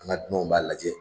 An ka dunaw b'a lajɛ.